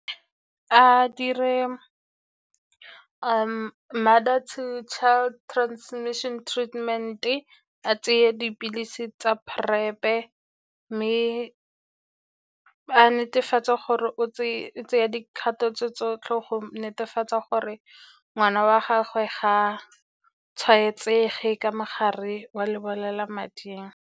A dire mother to child transmission treatment-e, a tseye dipilisi tsa PrEP-e. Mme a netefatsa gore o tseya dikgato tse tsotlhe go netefatsa gore ngwana wa gagwe ga a tshwaetsege ka mogare wa lebolelamading.